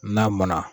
N'a mɔnna